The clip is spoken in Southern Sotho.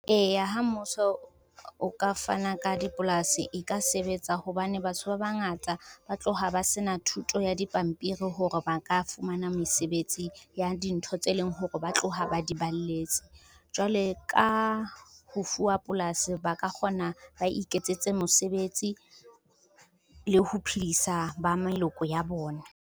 Eya, ha mmuso o ka fana ka dipolasi e ka sebetsa hobane batho ba bangata ba tloha ba se na thuto ya dipampiri hore ba ka fumana mesebetsi ya dintho tse leng hore ba tloha ba di balletse. Jwale ka ho fuwa polasi, ba ka kgona ba iketsetse mesebetsi le ho phedisa ba meloko ya bona.